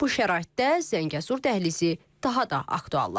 Bu şəraitdə Zəngəzur dəhlizi daha da aktuallaşır.